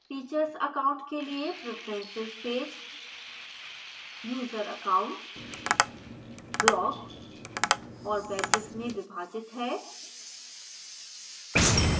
teachers account के लिए preferences page